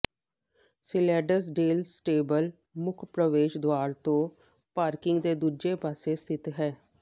ਸਿਲੇਡਸਡੇਲ stable ਮੁੱਖ ਪ੍ਰਵੇਸ਼ ਦੁਆਰ ਤੋਂ ਪਾਰਕਿੰਗ ਦੇ ਦੂਜੇ ਪਾਸੇ ਸਥਿਤ ਹੈ